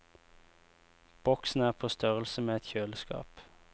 Boksen er på størrelse med et kjøleskap.